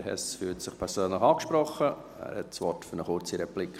Herr Hess fühlt sich persönlich angesprochen, er hat das Wort für eine kurze Replik.